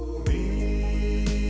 í